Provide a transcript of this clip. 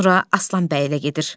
Sonra Aslan bəylə gedir.